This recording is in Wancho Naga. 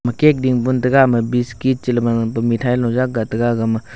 ema cake din ga biscuit che li ba mithai gag.